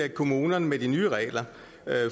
kommunerne med de nye regler